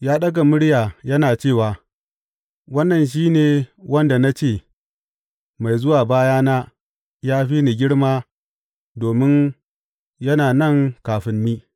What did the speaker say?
Ya ɗaga murya yana cewa, Wannan shi ne wanda na ce, Mai zuwa bayana ya fi ni girma domin yana nan kafin ni.’